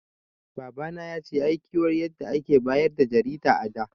Baba na yace yayi kiwar yadda a da ake bayar da jarida a da